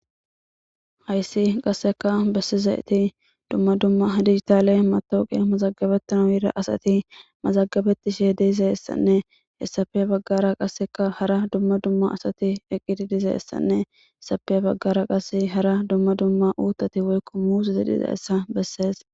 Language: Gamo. .haysi qaseka beaizaysi duma duma dijitale matawuqiya mazagabetanaw yiza asati mazagabetishe dizahesappe habagara qasekka hara duma duma eqidi diza asati,he bagara hara qase duma duma utati woykko muzeti dizaysa beses